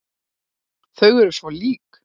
Og þau eru svo lík.